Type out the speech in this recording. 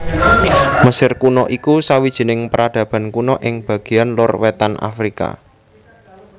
Mesir Kuna iku sawijining peradaban kuna ing bagéan lor wétan Afrika